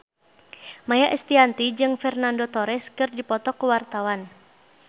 Maia Estianty jeung Fernando Torres keur dipoto ku wartawan